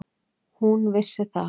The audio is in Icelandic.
Hún vissi það.